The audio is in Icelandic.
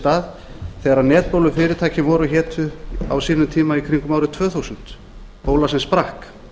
stað þegar netbólufyrirtækin voru og hétu á sínum tíma í kringum árið tvö þúsund bóla sem sprakk